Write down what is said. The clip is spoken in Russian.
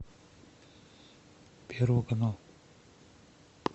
первый канал